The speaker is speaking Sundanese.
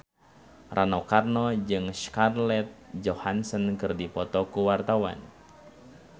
Rano Karno jeung Scarlett Johansson keur dipoto ku wartawan